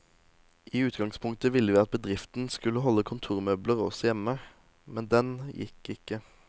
I utgangspunktet ville vi at bedriften skulle holde kontormøbler også hjemme, men den gikk ikke.